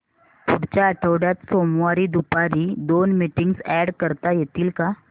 पुढच्या आठवड्यात सोमवारी दुपारी दोन मीटिंग्स अॅड करता येतील का